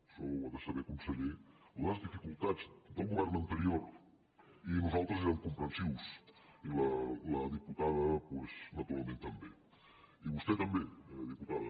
això ho ha de saber conseller les difi·cultats del govern anterior i nosaltres érem compren·sius i la diputada doncs naturalment també i vostè també diputada